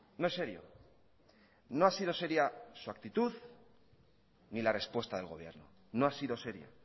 no es serio no ha sido seria su actitud ni la respuesta del gobierno no ha sido seria